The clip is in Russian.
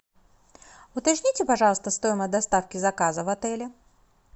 уточните пожалуйста стоимость доставки заказа в отеле